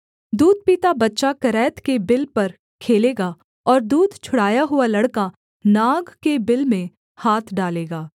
दूध पीता बच्चा करैत के बिल पर खेलेगा और दूध छुड़ाया हुआ लड़का नाग के बिल में हाथ डालेगा